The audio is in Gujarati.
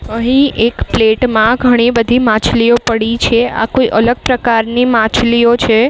અહીં એક પ્લેટ માં ઘણી બધી માછલીઓ પડી છે. આ કોઈ અલગ પ્રકારની માછલીઓ છે.